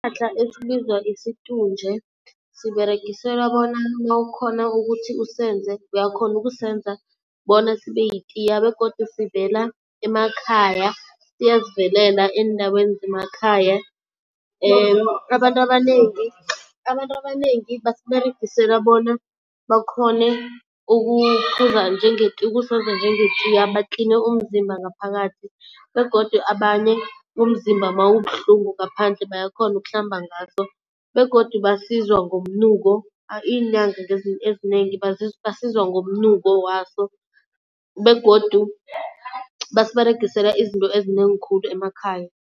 Isihlahla esibizwa isitunje siberegiselwa bona nawukhona ukuthi usenze uyakhona ukusenza bona sibe yitiya begodu sivela emakhaya, siyazivelela eendaweni zemakhaya. Abantu abanengi, abantu abanengi basiberegisela bona bakhone ukuphuza ukusenza njengetiya batline umzimba ngaphakathi. Begodu abanye umzimba mawubuhlungu ngaphandle bayakhona ukuhlamba ngaso begodu basizwa ngomnuko iinyanga ezinengi basizwa ngomnuko waso begodu basiberegisela izinto ezinengi khulu emakhaya.